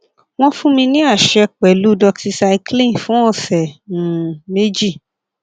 wọn fún mi ní àṣẹ pẹlú doxycycline fún ọsẹ um méjì